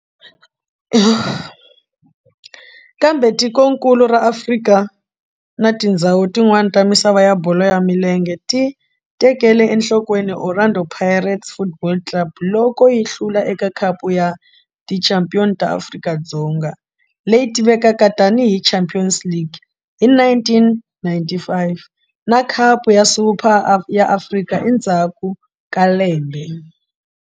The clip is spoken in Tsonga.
Kambe tikonkulu ra Afrika na tindzhawu tin'wana ta misava ya bolo ya milenge ti tekele enhlokweni Orlando Pirates Football Club loko yi hlula eka Khapu ya Tichampion ta Afrika, leyi tivekaka tani hi Champions League hi 1995 na Khapu ya Super ya Afrika endzhaku ka lembe.